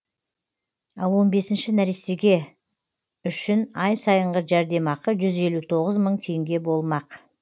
ал он бесінші нәрестеге үшін ай сайынғы жәрдемақы жүз елу тоғыз мың теңге болмақ